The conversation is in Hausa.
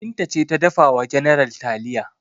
Binta ce ta dafa wa general taliya.